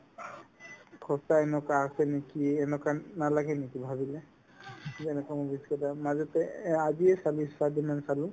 সঁচাই এনেকুৱা আছে নেকি এনেকুৱা নালাগে নেকি ভাবিলে যে এনেকুৱা movies কেইটা মাজতে এই আজিয়ে খালী spider-man চালো